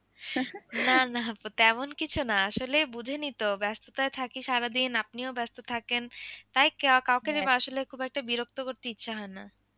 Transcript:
না না আপা তেমন কিছু না আসলে বোঝেনি তো ব্যস্ততায় থাকি সারাদিন আপনিও ব্যস্ত থাকেন তাই কাউকে আসলে খুব একটা বিরক্ত করতে ইচ্ছে হয় না।